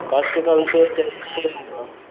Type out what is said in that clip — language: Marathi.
त्यांनी अ